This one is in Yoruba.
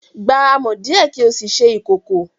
Gba amọ̀ díẹ̀ kí o sì ṣe ìkòkò